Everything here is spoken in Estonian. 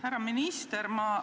Härra minister!